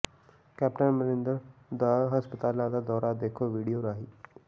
captain Amarinder ਦਾ ਹਸਪਤਾਲਾਂ ਦਾ ਦੌਰਾ ਦੇਖੋ ਵੀਡੀੳ ਰਾਹੀਂ